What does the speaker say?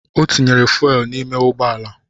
Ọ tinyere fuuel n’ime ụgbọala